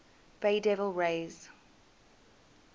bay devil rays